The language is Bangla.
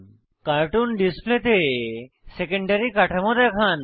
কার্টুন ডিসপ্লেতে সেকেন্ডারী কাঠামো দেখান